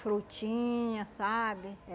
Frutinha, sabe?